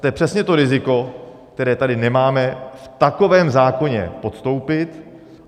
To je přesně to riziko, které tady nemáme v takovém zákoně podstoupit.